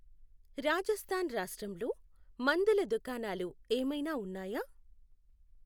రాజస్థాన్ రాష్ట్రంలో మందుల దుకాణాలు ఏమైనా ఉన్నాయా?